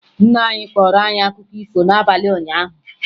Nna anyị kọọrọ anyị akụkọ ifo n'abalị ụnyaahụ